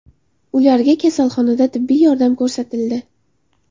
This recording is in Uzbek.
Ularga kasalxonada tibbiy yordam ko‘rsatildi.